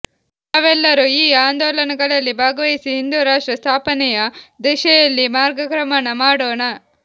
ತಾವೆಲ್ಲರೂ ಈ ಆಂದೋಲನಗಳಲ್ಲಿ ಭಾಗವಹಿಸಿ ಹಿಂದೂರಾಷ್ಟ್ರ ಸ್ಥಾಪನೆಯ ದಿಶೆಯಲ್ಲಿ ಮಾರ್ಗಕ್ರಮಣ ಮಾಡೋಣ